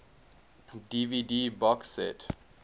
dvd box set